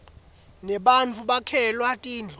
nebattfu bakhelwa tindlu